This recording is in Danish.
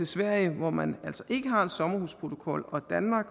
sverige hvor man altså ikke har en sommerhusprotokol og danmark